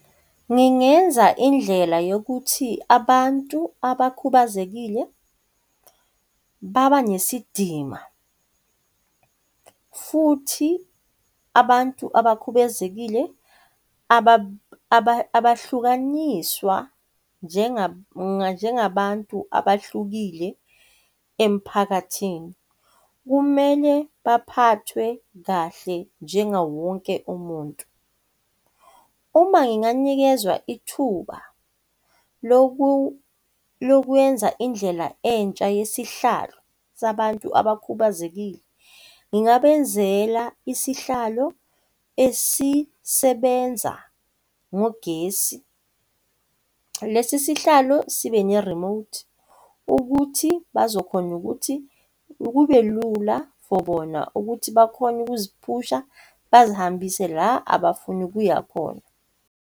Ngingenza indlela yokuthi abantu abakhubazekile baba nesidima futhi abantu abakhubezekile abahlukaniswa njengabantu abahlukile emphakathini. Kumele baphathwe kahle njengawo wonke umuntu. Uma nginganikezwa ithuba lokwenza indlela entsha yesihlalo sabantu abakhubazekile, ngingabenzela isihlalo esisebenza ngogesi. Lesi sihlalo sibe nerimothi ukuthi bazokhona ukuthi kube lula for bona ukuthi bakhone ukuziphusha bazihambise la abafuna ukuya khona.